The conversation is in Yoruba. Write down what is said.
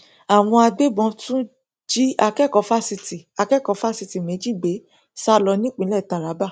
àwọn agbébọn tún jí akẹkọọ fásitì akẹkọọ fásitì méjì gbé sá lọ nípínlẹ taraba